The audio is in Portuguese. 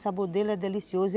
O sabor dele é delicioso.